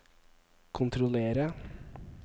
kontrollere